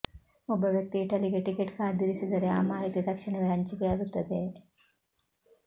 ಒಬ್ಬ ವ್ಯಕ್ತಿ ಇಟಲಿಗೆ ಟಿಕೆಟ್ ಕಾದಿರಿಸಿದರೆ ಆ ಮಾಹಿತಿ ತಕ್ಷಣವೇ ಹಂಚಿಕೆಯಾಗುತ್ತದೆ